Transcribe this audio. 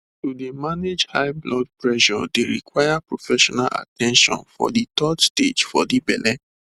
to dey manage high blood pressure dey require professional at ten tion for de third stage for de belle